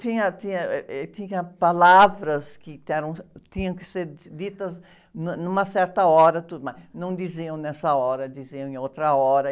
Tinha, tinha, êh, êh, tinha palavras que eram, tinham que ser ditas num, numa certa hora, tudo, mas não diziam nessa hora, diziam em outra hora.